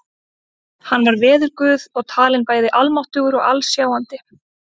Hann var veðurguð og talinn bæði almáttugur og alsjáandi.